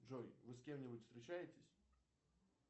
джой вы с кем нибудь встречаетесь